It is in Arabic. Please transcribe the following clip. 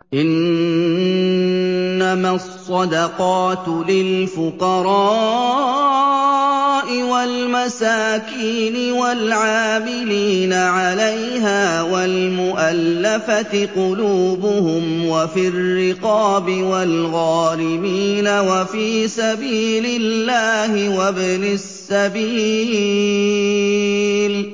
۞ إِنَّمَا الصَّدَقَاتُ لِلْفُقَرَاءِ وَالْمَسَاكِينِ وَالْعَامِلِينَ عَلَيْهَا وَالْمُؤَلَّفَةِ قُلُوبُهُمْ وَفِي الرِّقَابِ وَالْغَارِمِينَ وَفِي سَبِيلِ اللَّهِ وَابْنِ السَّبِيلِ ۖ